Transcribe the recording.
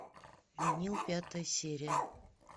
винил пятая серия